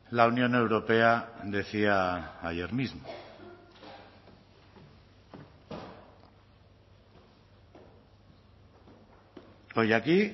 la unión europea decía ayer mismo hoy aquí